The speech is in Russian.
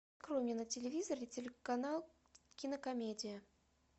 открой мне на телевизоре телеканал кинокомедия